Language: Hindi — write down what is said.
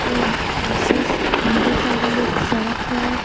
दू दूसरी स दाहिनी साइड में एक सड़क है।